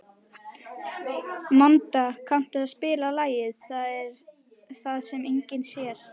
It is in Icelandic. Manda, kanntu að spila lagið „Það sem enginn sér“?